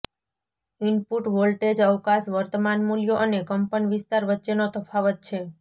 input voltage અવકાશ વર્તમાન મૂલ્યો અને કંપનવિસ્તાર વચ્ચેનો તફાવત છે